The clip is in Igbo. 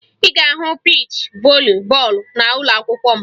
Ị ga-ahụ piichi voli bọọlụ n'ụlọakwụkwọ m